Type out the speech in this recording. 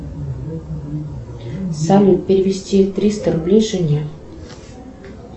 салют перевести триста рублей жене